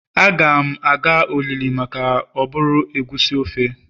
Agam aga olili maka oburu egusi ofe